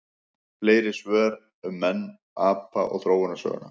Fleiri svör um menn, apa og þróunarsöguna: